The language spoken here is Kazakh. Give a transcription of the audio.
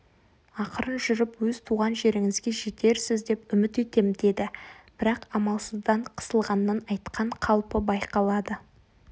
ақырын жүріп өз туған жеріңізге жетерсіз деп үміт етем деді бірақ амалсыздан қысылғаннан айтқан қалпы байқалады